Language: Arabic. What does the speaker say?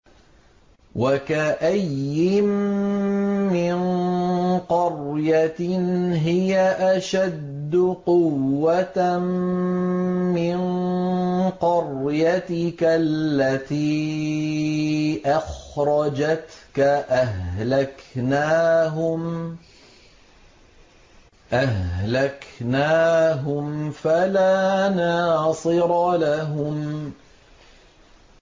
وَكَأَيِّن مِّن قَرْيَةٍ هِيَ أَشَدُّ قُوَّةً مِّن قَرْيَتِكَ الَّتِي أَخْرَجَتْكَ أَهْلَكْنَاهُمْ فَلَا نَاصِرَ لَهُمْ